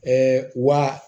wa